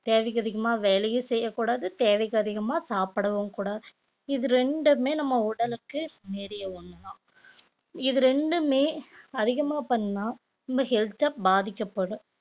தேவைக்கு அதிகமா வேலையும் செய்யக்கூடாது தேவைக்கு அதிகமா சாப்பிடவும்கூடாது இது ரெண்டுமே நம்ம உடலுக்கு நிறைய ஒண்ணுதான் இது ரெண்டுமே அதிகமா பண்ணா உங்க health உ பாதிக்கப்படும்